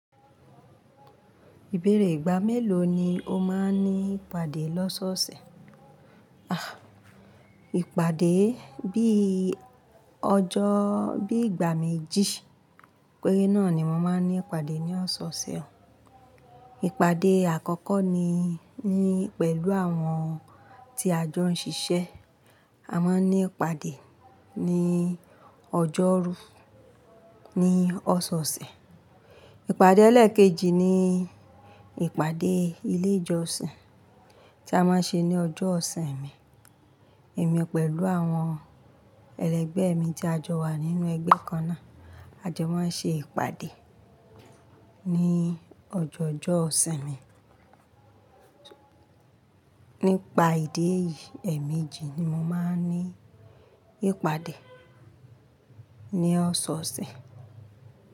Ìbẹ̀rẹ̀ ìgbà mélòó ni o máa ń ní ìpàdé lọ́sọ̀ọ̀sẹ̀? Ah, ìpàdé bí ọjọ́, bí ìgbà méjì péré náà ni mo máa ń ní ìpàdé ní ọ̀ṣọ̀ọ̀sẹ̀. Ìpàdé àkọ́kọ́ ni ní pẹ̀lú àwọn tí a jọ ń ṣiṣẹ́. A máa ń ní ìpàdé ní ọjọ́rú ní ọ̀ṣọ̀ọ̀sẹ̀. Ìpàdé ẹlẹ́ẹ̀kejì ni ìpàdé ilé ìjọsìn tí a máa ń ṣe ní ọjọ́ ọ̀sin mi. Èmi pẹ̀lú àwọn ẹlẹgbẹ́ mi tí a jọ wà nínú ẹgbẹ́ kan náà, a jọ máa ń ṣe ìpàdé ní ọjọọọ jọ́'sin mi. Nípa ìdí èyí, ẹ̀ẹ̀méjì ni mo máa ń ní ìpàdé ní ọ̀ṣọ̀ọ̀sẹ̀.